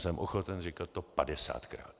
Jsem ochoten říkat to padesátkrát!